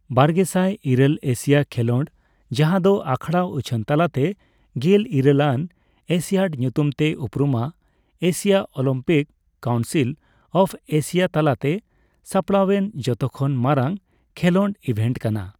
ᱵᱟᱨᱜᱮᱥᱟᱭ ᱤᱨᱟᱹᱞ ᱮᱥᱤᱭᱟ ᱠᱷᱮᱞᱳᱰ, ᱡᱟᱦᱟᱸ ᱫᱚ ᱟᱠᱷᱲᱟ ᱩᱪᱷᱟᱹᱱ ᱛᱟᱞᱟᱛᱮ ᱜᱮᱞ ᱤᱨᱟᱹᱞᱟᱱ ᱮᱥᱤᱭᱟᱰ ᱧᱩᱛᱩᱢ ᱛᱮ ᱩᱯᱨᱩᱢᱟᱸ, Asia Olympic Council of Asia ᱛᱟᱞᱟᱛᱮ ᱥᱟᱯᱲᱟᱣᱮᱱ ᱡᱷᱚᱛᱚᱠᱷᱚᱱ ᱢᱟᱨᱟᱝ ᱠᱷᱮᱞᱳᱰ ᱤᱵᱷᱮᱴ ᱠᱟᱱᱟ ᱾